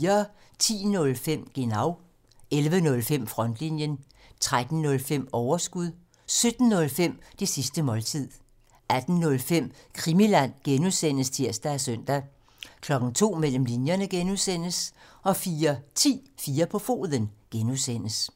10:05: Genau (tir) 11:05: Frontlinjen (tir) 13:05: Overskud (tir) 17:05: Det sidste måltid (tir) 18:05: Krimiland (G) (tir og søn) 02:00: Mellem linjerne (G) 04:10: 4 på foden (G)